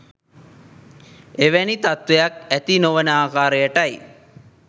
එවැනි තත්ත්වයක් ඇති නොවන ආකාරයටයි.